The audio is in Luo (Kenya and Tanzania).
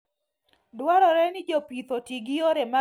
Dwarore ni jopith oti gi yore mag geng'o kute mag kutego.